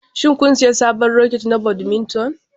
Shin kun sayi sabon raket na badminton?